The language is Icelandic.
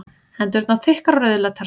Hendurnar þykkar og rauðleitar.